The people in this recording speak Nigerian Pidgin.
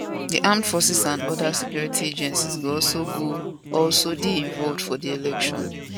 di armed forces and oda security agencies go also go also dey involved for di election